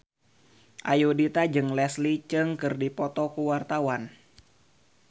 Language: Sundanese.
Ayudhita jeung Leslie Cheung keur dipoto ku wartawan